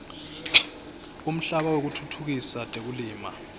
umhlaba wekutfutfukisa tekulima